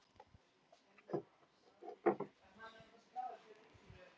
Hrefna og Birkir.